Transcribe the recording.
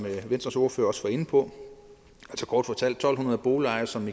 venstres ordfører også var inde på kort fortalt to hundrede boligejere som